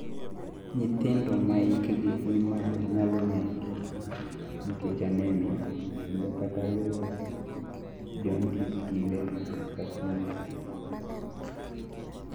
nyithindo maa hikgi ni malo nyalo ner(nikech anemia) kendo kata yodo jaundice kinde ka kinde